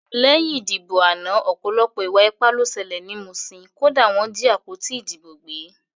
Lẹ́yìn ìdìbò àná ọ̀pọ̀lọpọ̀ ìwà ipá ló ṣẹlẹ̀ ní Muṣin, kódà wọ́n jí àpótí ìdìbò gbé